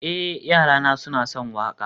eh, yarana suna son waƙa